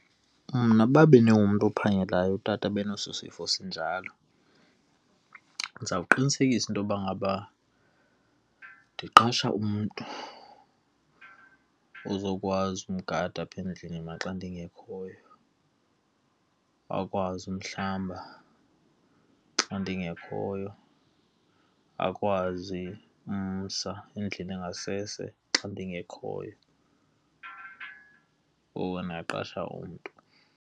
Mna uba bendingumntu ophangelayo, utata abaneso sifo sinjalo, ndizawuqinisekisa intoba ngaba ndiqesha umntu ozokwazi umgada apha endlini mna axa ndingekhoyo. Akwazi umhlamba xa ndingekhoyo, akwazi umsa endlini engasese xa ndingekhoyo. Ngoko ndingaqasha umntu.